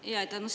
Aitäh!